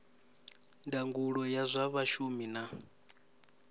ndangulo ya zwa vhashumi na